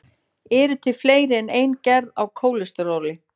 til eru fleiri en ein gerð af kólesteróli